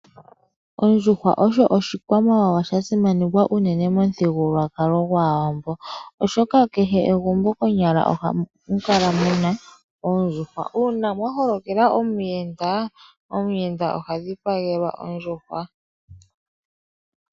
Ondjuhwa osho oshikwamawawa sha simanekwa unene momuthigululwakalo gwaawambo, oshoka kehe egumbo konyala ohamu kala muna oondjuhwa. Uuna mwa holokela omuyenda, omuyenda oha dhipagelwa ondjuhwa.